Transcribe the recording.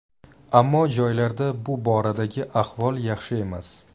Ammo joylarda bu boradagi ahvol yaxshi emas.